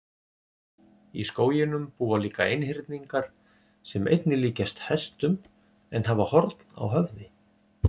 Í skóginum búa líka einhyrningar sem einnig líkjast hestum en hafa horn á höfði.